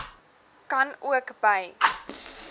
kan ook by